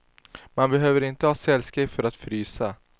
Man behöver inte ha cellskräck för att frysa.